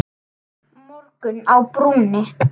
Morgunn á brúnni